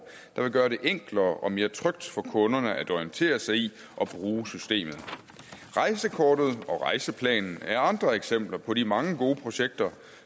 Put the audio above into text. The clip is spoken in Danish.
der vil gøre det enklere og mere trygt for kunderne at orientere sig i og bruge systemet rejsekortet og rejseplanen er andre eksempler på de mange gode projekter